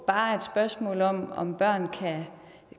bare er et spørgsmål om om børn kan